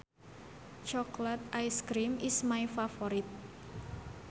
Chocolate ice cream is my favorite